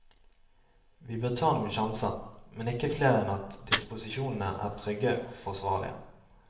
Vi bør ta noen sjanser, men ikke flere enn at disposisjonene er trygge og forsvarlige.